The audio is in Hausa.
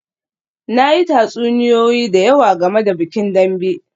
Na yi tatsuniyoyi da yawa game da bikin Dambe